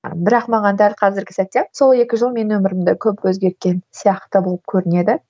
бірақ маған дәл қазіргі сәтте сол екі жыл менің өмірімді көп өзгерткен сияқты болып көрінеді